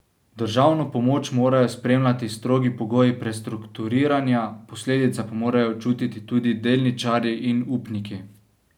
Državno pomoč morajo spremljati strogi pogoji prestrukturiranja, posledice pa morajo čutiti tudi delničarji in upniki.